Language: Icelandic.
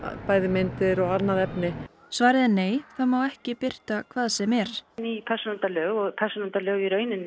bæði myndir og annað efni svarið er nei það má ekki birta hvað sem er ný persónuverndarlög og persónuverndarlög